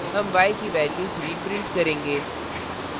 हम y की value 3 print करेंगे